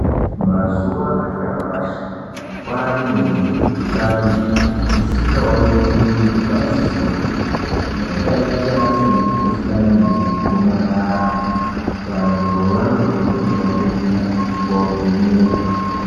Mazuwa anyashi kwaanemikuhlani isingaoneki ngedzisopi yakaita semikhuhlani yegomarara. Vantu vanokurudzirwa kuenda kovhenekwa.